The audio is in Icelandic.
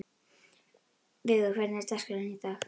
Vigur, hvernig er dagskráin í dag?